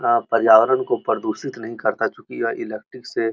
यहाँ पर्यावरण को प्रदूषित नहीं करता चूकि यह इलेक्ट्रिक से --